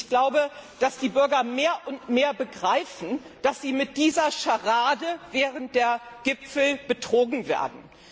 Ich glaube, dass die Bürger mehr und mehr begreifen, dass sie mit dieser Scharade während der Gipfel betrogen werden.